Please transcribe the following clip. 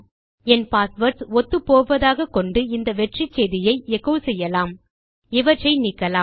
என் passwords ஒத்துப்போவதாக கொண்டு இந்த வெற்றிச்செய்தியை எச்சோ செய்யலாம் இவற்றை நீக்கலாம்